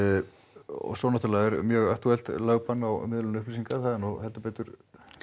og svo náttúrulega er mjög aktúelt lögbann á miðlun upplýsinga það er nú heldur betur